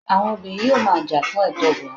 àwọn obìnrin yíò ma jà fún ètò obinrin